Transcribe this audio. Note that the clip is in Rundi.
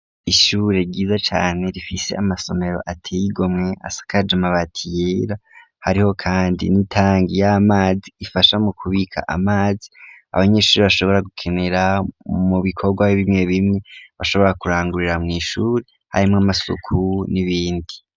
Ishure ryiza cane rifise amasomero ateye igomwe asakaje amabati yera, hariho kandi n'itangi y'amazi ifasha mu kubika amazi abanyeshure bashobora gukenera mu bikorwa bimwe bimwe bashobora kurangurira mw'ishuri, harimwo amasuku n'ibindi.